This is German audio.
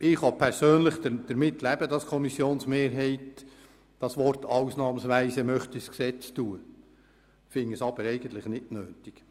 Ich persönlich kann damit leben, dass eine Kommissionsmehrheit das Wort «ausnahmsweise» ins Gesetz schreiben möchte, finde es aber eigentlich nicht nötig.